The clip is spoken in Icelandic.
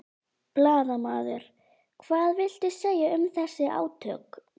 Blaðamaður: Hvað viltu segja um þessi átök?